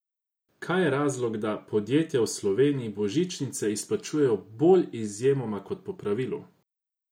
Kaj je razlog, da podjetja v Sloveniji božičnice izplačujejo bolj izjemoma kot po pravilu?